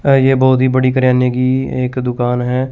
अह ये बहुत ही बड़ी किराने की एक दुकान है।